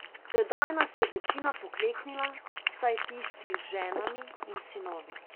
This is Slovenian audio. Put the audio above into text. Tedaj nas je večina pokleknila, vsaj tisti z ženami in sinovi.